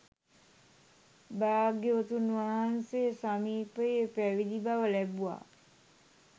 භාග්‍යවතුන් වහන්සේ සමීපයේ පැවිදිි බව ලැබුවා.